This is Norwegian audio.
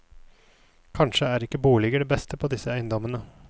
Kanskje er ikke boliger det beste på disse eiendommene.